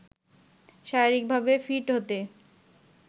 শারীরিকভাবে ফিট হতে